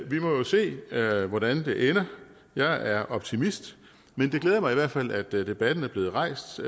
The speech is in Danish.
vi må jo se hvordan det ender jeg er optimist men det glæder mig i hvert fald at debatten er blevet rejst så